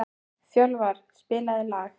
Fjölvar, spilaðu lag.